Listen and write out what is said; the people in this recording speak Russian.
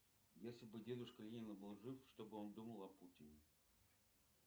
если бы дедушка ленин был жив что бы он думал о путине